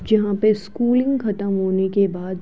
जहां पे स्कूलिंग खत्म होने के बाद --